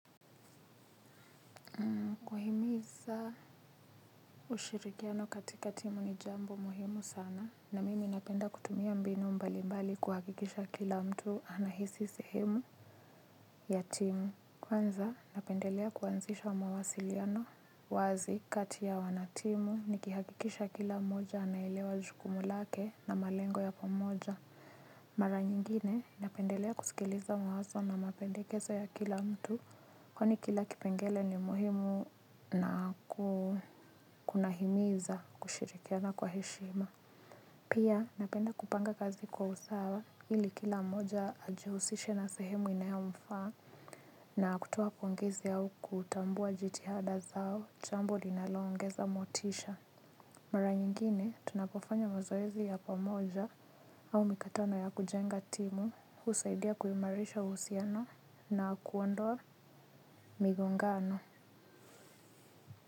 Kuhimiza ushirikiano katika timu ni jambo muhimu sana na mimi napenda kutumia mbinu mbalimbali kuhakikisha kila mtu anahisi sehemu ya timu. Kwanza napendelea kuanzisha mawasiliano wazi kati ya wanatimu nikihakikisha kila mmoja anailewa jukumu lake na malengo ya pamoja. Mara nyingine napendelea kusikiliza mwazo na mapendekezo ya kila mtu kwani kila kipengele ni muhimu na kukunahimiza kushirikiana kwa heshima. Pia napenda kupanga kazi kwa usawa ili kila mmoja ajihusishe na sehemu inayo mfa na kutoa pongezi au kutambua jitihada zao jambo linalo ongeza motisha. Mara nyingine tunapofanya mazoezi ya pamoja au mikatano ya kujenga timu husaidia kuimarisha husiano na kuondoa migongano.